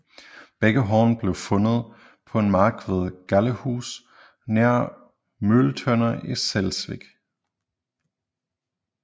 Begge horn blev fundet på en mark ved Gallehus nær Møgeltønder i Slesvig